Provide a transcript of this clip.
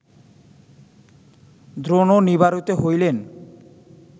দ্রোণও নিবারিত হইলেন